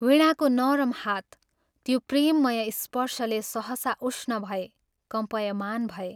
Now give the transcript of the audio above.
वीणाको नरम हात त्यो प्रेममय स्पर्शले सहसा उष्ण भए कम्पायमान भए।